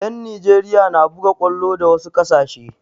Yan Nijeriya na buga kwallo da wasu ƙasashe